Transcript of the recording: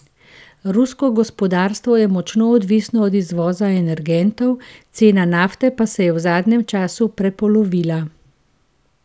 Rusko gospodarstvo je močno odvisno od izvoza energentov, cena nafte pa se je v zadnjem času prepolovila.